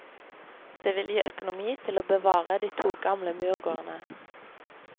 Det vil gi økonomi til å bevare de to gamle murgårdene.